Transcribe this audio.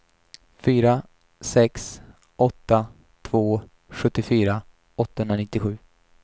fyra sex åtta två sjuttiofyra åttahundranittiosju